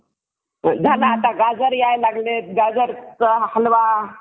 जपानच्या पश्चिमेस जपानी समुद्र असून त्याची जास्तीत जास्त पूर्व पश्चिम रुंदी आठशे पंच्यांशी किलोमीटर आहे तसेच